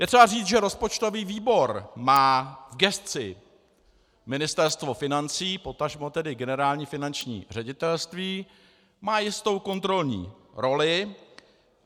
Je třeba říci, že rozpočtový výbor má v gesci Ministerstvo financí, potažmo tedy Generální finanční ředitelství, má jistou kontrolní roli.